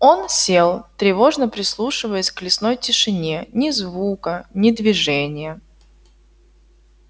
он сел тревожно прислушиваясь к лесной тишине ни звука ни движения